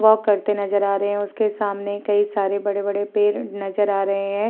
Walk करते नजर आ रहे हैं। उसके सामने कई सारे बड़े-बड़े पेड़ नजर आ रहे हैं।